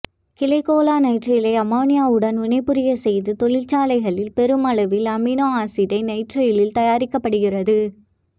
கிளைகோலோநைட்ரைலை அமோனியாவுடன் வினை புரியச்செய்து தொழிற்சாலைகளில் பெருமளவில் அமினோ அசிட்டோ நைட்ரைல் தயாரிக்கப்படுகிறது